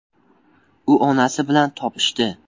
U onasi bilan “topishdi”.